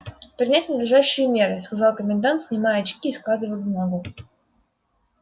принять надлежащие меры сказал комендант снимая очки и складывая бумагу